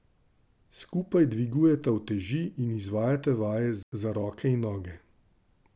Skupaj dvigujeta uteži in izvajata vaje za roke in noge.